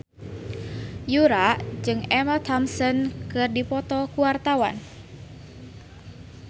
Yura jeung Emma Thompson keur dipoto ku wartawan